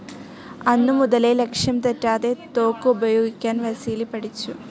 അന്നുമുതലേ ലക്ഷ്യംതെറ്റാതെ തോക്കുപയോഗിക്കാൻ വസീലി പഠിച്ചു.